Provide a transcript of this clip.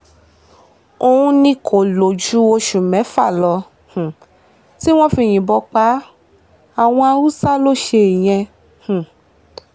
òun ni kó lò ju oṣù mẹ́fà lọ um tí wọ́n fi yìnbọn pa á àwọn haúsá lọ ṣe ìyẹn um